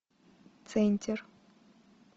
центер